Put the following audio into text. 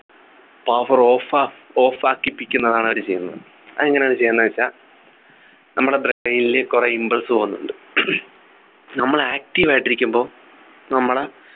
power off off ആക്കിപ്പിക്കുന്നതാണ് അവര് ചെയ്യുന്നത് അതെങ്ങനെയാ അത് ചെയ്യുന്നേ വെച്ച നമ്മളെ brain ലു കുറെ impulse പോകുന്നുണ്ട് നമ്മൾ active ആയിട്ടിരിക്കുമ്പോ നമ്മുടെ